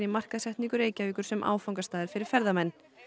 markaðssetningu Reykjavíkur sem áfangastaðar fyrir ferðamenn